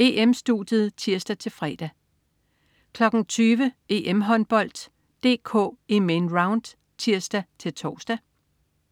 EM-Studiet (tirs-fre) 20.00 EM-Håndbold: DK i Main Round? (tirs-tors)